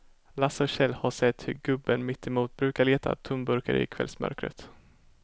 Lasse och Kjell har sett hur gubben mittemot brukar leta tomburkar i kvällsmörkret.